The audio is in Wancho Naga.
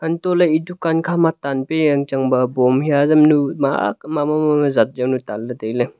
untohley e dukan khama tanpia yangchang ba bomb haiya azamnu ma ak mama zatyonu tanley tailey.